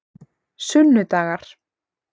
sunnudagar